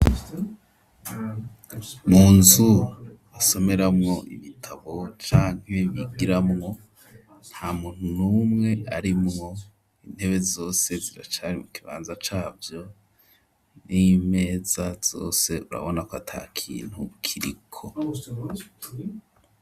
Mu nzu basomeramwo ibitabo canke bigiramwo, nta muntu n'umwe arimwo, intebe zose ziracari mu kibanza cavyo, n'imeza zose urabona ko ata kintu kiriko.